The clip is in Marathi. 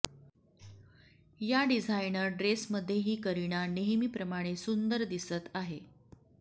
या डिझाइनर ड्रेसमध्येही करीना नेहमी प्रमाणे सुंदर दिसत आहे